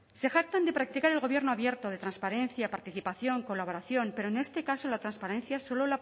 se jactan de practicar el gobierno abierto de transparencia participación colaboración pero en este caso la transparencia solo